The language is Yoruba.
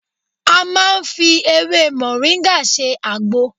A máa ń fi ewé mọ̀ríńgà ṣe àgbo